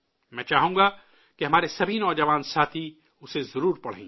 میں چاہوں گا کہ ہمارے سبھی نوجوان ساتھی اسے ضرور پڑھیں